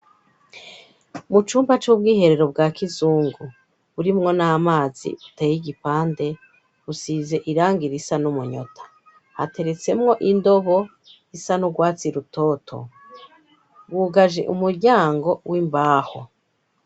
Mu cumba c'ubwiherero bwa kizungu urimwo n' amazi uteye igipande busize iranga ira isa n'umunyota hateretsemwo indogo isa n'urwatsi rutoto wugaje umuryango w'imbaho.